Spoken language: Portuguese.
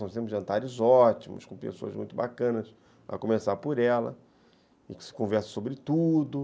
São sempre jantares ótimos, com pessoas muito bacanas, a começar por ela, e que se conversa sobre tudo.